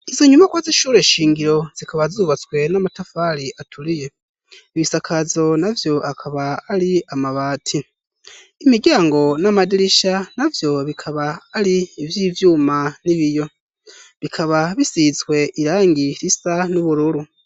Izo nyumakwa zishura shingiro zikaba zubatswe n'amatafari aturiye ibisakazo na vyo akaba ari amabati imiryango n'amadirisha na vyo bikaba ari ivyo ivyuma n'ibiyo bikaba bisizswe irang i risa n'ubururu.